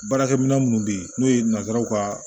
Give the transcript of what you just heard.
Baarakɛ minɛ minnu bɛ yen n'o ye nanzaraw ka